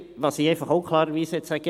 Was ich einfach auch klar sagen möchte: